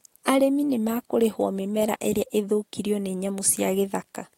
Arĩmi nĩ makũrĩhwo mĩmera ĩrĩa ĩthũkirio nĩ nyamũ cia gĩthaka